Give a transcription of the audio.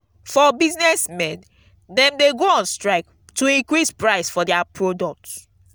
for business men dem de go on strike to increase price for their product